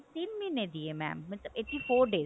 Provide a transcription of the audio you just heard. ਤਿੰਨ ਮਹੀਨੇ ਦੀ ਹੈ mam ਮਤਲਬ eighty four days